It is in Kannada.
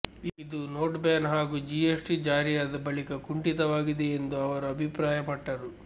ಇದು ನೋಟ್ ಬ್ಯಾನ್ ಹಾಗೂ ಜಿಎಸ್ಟಿ ಜಾರಿಯಾದ ಬಳಿಕ ಕುಂಠಿತವಾಗಿದೆ ಎಂದು ಅವರು ಅಭಿಪ್ರಾಯಪಟ್ಟರು